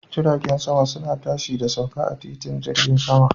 Jiragen sama suna tashi da sauka a titin jirgin sama.